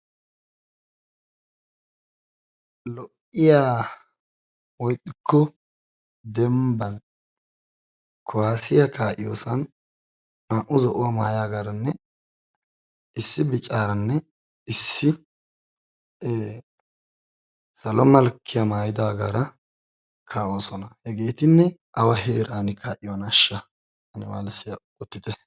Lo''iya woykko dembban kuwassiyaa kaa'iyoossan naa''u zo'uwaa maayyagaranne issi biccaranne issi salo malkkiya maayyidaagara kaa'oosona. hegetinne awa heeran kaa'iyoonashsha ane malissiya odite.